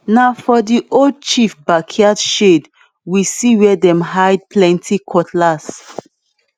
na for the old chief backyard shed we see where dem hide plenty cutlass